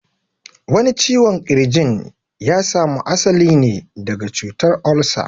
Wani ciwon ƙirjin ya samu asali ne daga cutar olsa